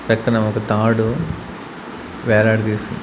పక్కన ఒక తాడు వేలాడ తీసి.